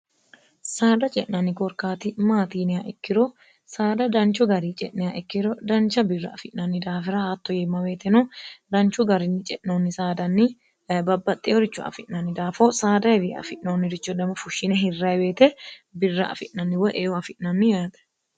saada ce'nanni korkaati maatiiniya ikkiro saada danchu gari ce'neya ikkiro dancha birra afi'nanni daafira haatto yeemma beeteno danchu garinni ce'noonni saadanni babbaxxeyoricho afi'nanni daafo saada hewi afi'noonniricho dama fushshine hirrayiweete birra afi'nanni woyeyo afi'nammi yaate